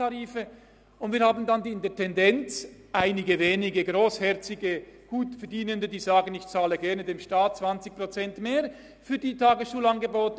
Tendenziell werden wir dann einige wenige grossherzige Gutverdienende haben, die sagen: «Ich zahle dem Staat gerne 20 Prozent mehr für die Tagesschulangebote.